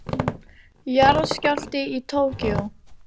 Jarðskjálfti í Tókýó